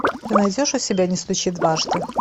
ты найдешь у себя не стучи дважды